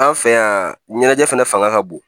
An fɛ yan ɲɛnajɛ fɛnɛ fanga ka bon